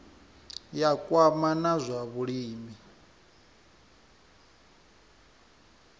ya kwama na zwa vhulimi